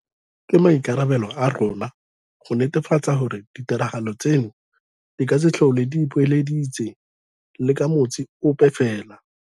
Ke maikarabelo a rona go netefatsa gore ditiragalo tseno di ka se tlhole di ipoeleditse le ka motsi ope fela.